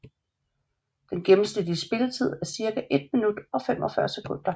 Den gennemsnitlige spilletid er cirka 1 minut og 45 sekunder